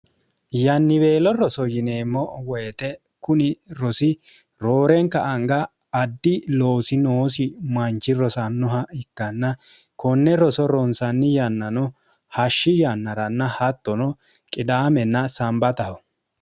yanniweelo roso yineemmo woyixe kuni rosi roorenka anga addi loosi noosi manchi rosannoha ikkanna konne roso ronsanni yannano hashshi yannaranna hattono qidaamenna sambataho